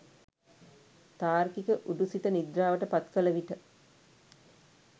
තාර්කික උඩු සිත නිද්‍රාවට පත් කළ විට